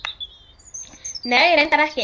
Nei, reyndar ekki.